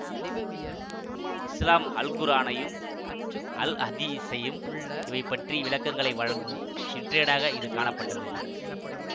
இசுலாம் அல்குர்ஆனையும் அல்அதீஸையும் இவை பற்றி விளக்கங்களை வழங்கும் சிற்றேடாக இது காணப்பட்டது